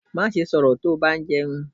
Maṣe sọrọ ti ba jẹun!